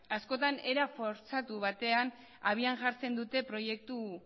askotan era fortzatu batean abian jartzen dute proiektu